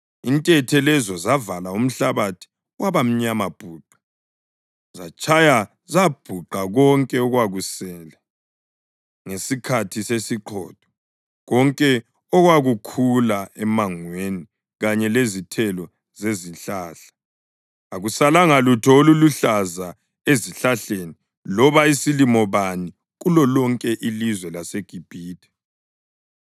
Intethe lezo zavala umhlabathi waba mnyama bhuqe. Zatshaya zabhuqa konke okwakusele ngesikhathi sesiqhotho, konke okwakukhula emangweni kanye lezithelo zezihlahla. Akusalanga lutho oluluhlaza ezihlahleni loba isilimo bani kulolonke ilizwe laseGibhithe.